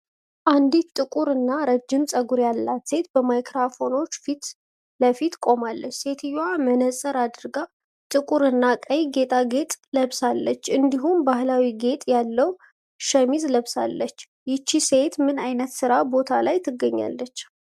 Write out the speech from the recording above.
አንዲት ጥቁር እና ረጅም ፀጉር ያላት ሴት በማይክሮፎኖች ፊት ለፊት ቆማለች። ሴትየዋ መነጽር አድርጋ ጥቁር እና ቀይ ጌጣጌጥ ለብሳለች፤ እንዲሁም ባሕላዊ ጌጥ ያለው ሸሚዝ ለብሳለች። ይህች ሴት ምን ዓይነት የሥራ ቦታ ላይ ትገኛለች?